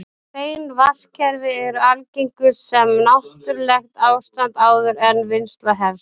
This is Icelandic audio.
Hrein vatnskerfi eru algengust sem náttúrlegt ástand áður en vinnsla hefst.